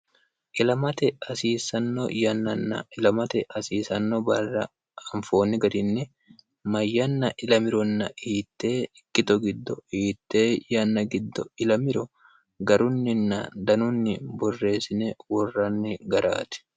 ilamate hasiisanno yannanna ilamate hasiisanno barra anfoonni garinni mayyanna ilamironna hiitte ikkito giddo hiitte yanna giddo ilamiro garunninna danunni borreessine worranni garaati